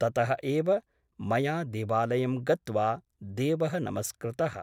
ततः एव मया देवालयं गत्वा देवः नमस्कृतः ।